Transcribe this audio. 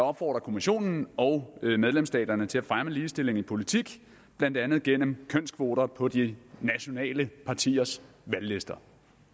opfordrer kommissionen og medlemsstaterne til at fremme ligestilling i politik blandt andet gennem kønskvoter på de nationale partiers valglister